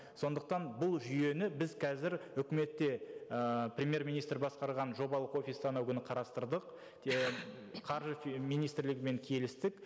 сондықтан бұл жүйені біз қазір үкіметте ыыы премьер министр басқарған жобалық офиста анау күні қарастырдық қаржы министрлігімен келістік